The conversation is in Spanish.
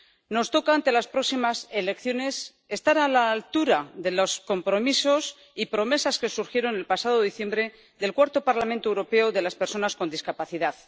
Nos toca, ante las próximas elecciones, estar a la altura de los compromisos y promesas que surgieron el pasado diciembre del Cuarto Parlamento Europeo de las Personas con Discapacidad.